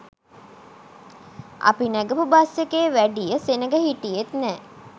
අපි නැගපු බස් එකේ වැඩිය සෙනග හිටියෙත් නෑ.